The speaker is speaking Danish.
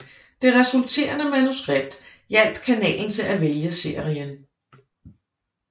Det resulterende manuskript hjalp kanalen til at vælge serien